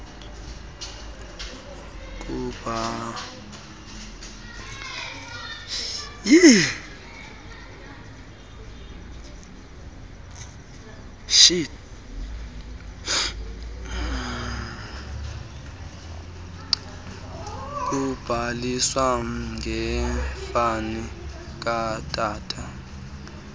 kubhaliswa ngefani katata